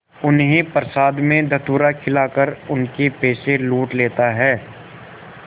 उन्हें प्रसाद में धतूरा खिलाकर उनके पैसे लूट लेता है